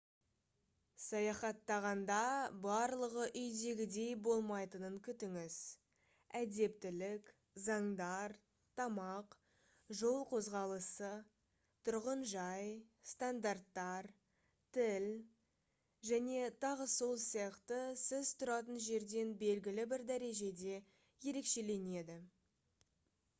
саяхаттағанда барлығы «үйдегідей» болмайтынын күтіңіз. әдептілік заңдар тамақ жол қозғалысы тұрғын жай стандарттар тіл және т.с.с. сіз тұратын жерден белгілі бір дәрежеде ерекшеленеді